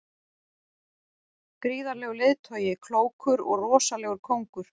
Gríðarlegur leiðtogi, klókur og rosalegur kóngur.